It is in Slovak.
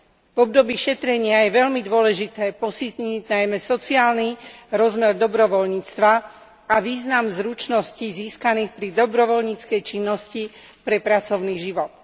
V období šetrenia je veľmi dôležité posilniť najmä sociálny rozmer dobrovoľníctva a význam zručností získaných pri dobrovoľníckej činnosti pre pracovný život.